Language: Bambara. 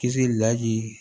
Kisi lahi